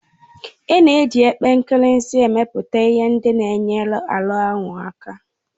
A na-eji epe nkirisi emepụta ihe ndị na enyere ọnuahu aka.